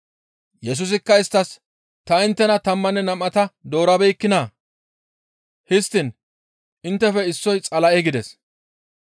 Yesusikka isttas, «Ta inttena tammanne nam7ata doorabeekkinaa? Histtiin inttefe issoy Xala7e» gides.